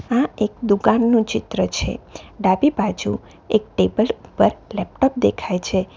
આ એક દુકાન નું ચિત્ર છે ડાબી બાજુ એક ટેબલ ઉપર લેપટોપ દેખાય છે.